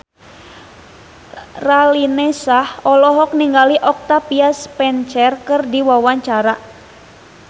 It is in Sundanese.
Raline Shah olohok ningali Octavia Spencer keur diwawancara